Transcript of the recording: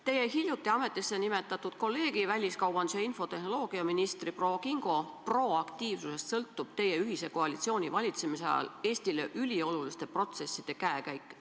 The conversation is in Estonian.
Teie hiljuti ametisse nimetatud kolleegi, väliskaubandus- ja infotehnoloogiaministri proua Kingo proaktiivsusest sõltub teie ühise koalitsiooni valitsemise ajal Eestile ülioluliste protsesside käekäik.